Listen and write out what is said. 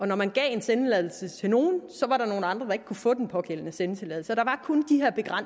når man gav en sendetilladelse til nogen var der nogle andre der ikke kunne få den pågældende sendetilladelse